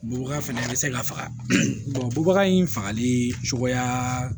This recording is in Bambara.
Bubaga fɛnɛ a be se ka faga bubaga in fagali cogoya